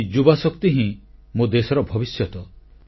ଏହି ଯୁବଶକ୍ତି ହିଁ ମୋ ଦେଶର ଭବିଷ୍ୟତ